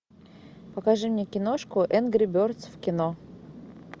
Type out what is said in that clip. покажи мне киношку энгри бердс в кино